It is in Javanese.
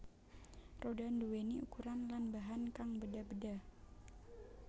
Roda nduwèni ukuran lan bahan kang béda béda